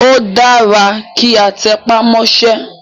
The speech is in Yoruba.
Ó dára kí a tẹpá mọ́sẹ́.